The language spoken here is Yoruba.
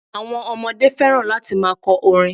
Àwon ọmọdé fẹ́ràn láti ma kọ orin